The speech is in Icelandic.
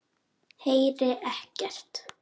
Heyri ekkert.